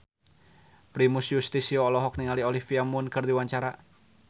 Primus Yustisio olohok ningali Olivia Munn keur diwawancara